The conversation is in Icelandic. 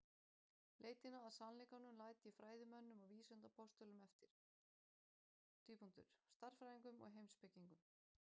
Leitina að sannleikanum læt ég fræðimönnum og vísindapostulum eftir: stærðfræðingum, heimspekingum.